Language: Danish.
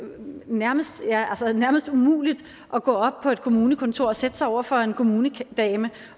nærmest nærmest umuligt at gå op på et kommunekontor og sætte sig over for en kommunedame